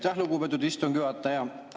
Aitäh, lugupeetud istungi juhataja!